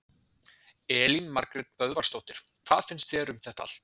Elín Margrét Böðvarsdóttir: Hvað finnst þér um þetta allt?